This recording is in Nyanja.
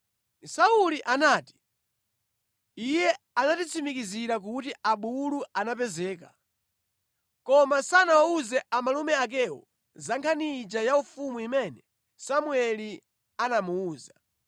Sauli anati, “Iye anatitsimikizira kuti abulu anapezeka.” Koma sanawawuze amalume akewo za nkhani ija ya ufumu imene Samueli anamuwuza.